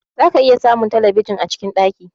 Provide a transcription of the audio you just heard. Za ka iya samun telebijin cikin ɗaki